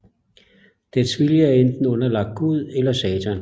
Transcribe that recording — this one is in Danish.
Dets vilje er enten underlagt Gud eller Satan